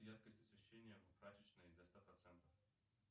яркость освещения в прачечной до ста процентов